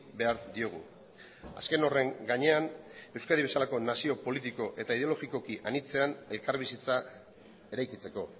behar diogu azken horren gainean euskadi bezalako nazio politiko eta ideologikoki anitzean elkarbizitza eraikitzeko